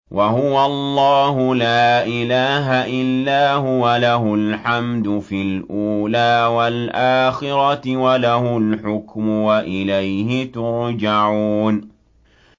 وَهُوَ اللَّهُ لَا إِلَٰهَ إِلَّا هُوَ ۖ لَهُ الْحَمْدُ فِي الْأُولَىٰ وَالْآخِرَةِ ۖ وَلَهُ الْحُكْمُ وَإِلَيْهِ تُرْجَعُونَ